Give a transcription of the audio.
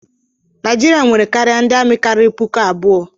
Naijiria nwere karịa ndị amị karịrị puku abụọ.